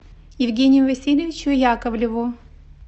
евгению васильевичу яковлеву